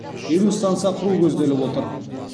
елу станса құру көзделіп отыр